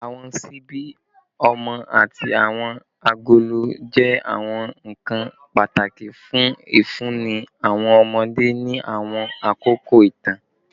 Awọn ṣibi ọmọ ati awọn agolo jẹ awọn nkan pataki fun ifunni awọn ọmọde ni awọn akoko itan